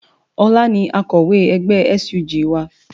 Ọlá ni akọ̀wé ẹgbẹ́ SUG wa